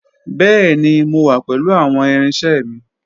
Bẹẹni, Mo wa pẹlu awọn irinṣẹ mi.